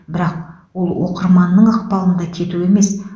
бірақ ол оқырманның ықпалында кету емес